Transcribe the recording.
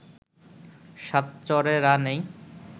সাত চড়ে রা নেই